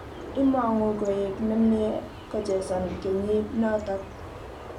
Imong'u koek ne mie kochesan kenyir notok.